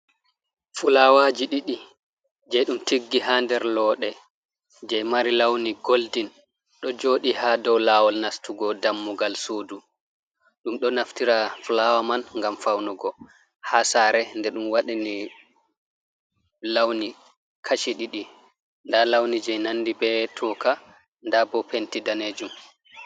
Fulawaji ɗiɗi je ɗum tiggi ha nder looɗe je mari lawni goldin, ɗo joɗi ha dow lawol nastugo dammugal sudu, ɗum ɗo naftira fulawa man ngam faunugo ha sare, nde ɗum waɗa ni lawni kachi ɗiɗi, nda lawni je nandi be toka nda bo penti danejum.